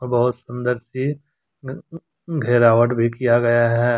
बहुत सुंदर सी अ घेरावट भी किया गया है।